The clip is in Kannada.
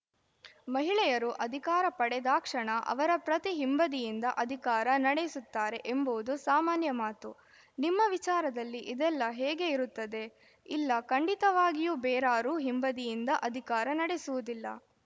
ಮಹಿಳೆಯರು ಅಧಿಕಾರ ಪಡೆದಾಕ್ಷಣ ಅವರ ಪ್ರತಿ ಹಿಂಬದಿಯಿಂದ ಅಧಿಕಾರ ನಡೆಸುತ್ತಾರೆ ಎಂಬುದು ಸಾಮಾನ್ಯ ಮಾತು ನಿಮ್ಮ ವಿಚಾರದಲ್ಲಿ ಇದೆಲ್ಲ ಹೇಗೆ ಇರುತ್ತದೆ ಇಲ್ಲ ಖಂಡಿತವಾಗಿಯೂ ಬೇರಾರೂ ಹಿಂಬದಿಯಿಂದ ಅಧಿಕಾರ ನಡೆಸುವುದಿಲ್ಲ